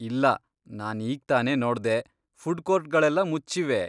ಇಲ್ಲ, ನಾನ್ ಈಗ್ತಾನೆ ನೋಡ್ದೆ, ಫುಡ್ಕೋರ್ಟ್ಗಳೆಲ್ಲ ಮುಚ್ಚಿವೆ.